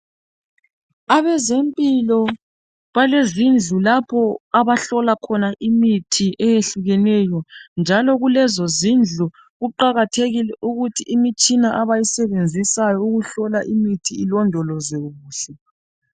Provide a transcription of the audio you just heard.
Abezempilo balezindlu lapho abahlola khona imithi eyehlukeneyo njalo kulezo zindlu kuqakathekile ukuthi imitshina abayisebenzisayo ukuhlola imithi ilondolozwe kuhle.